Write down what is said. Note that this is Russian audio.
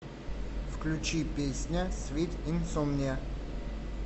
включи песня свит инсомниа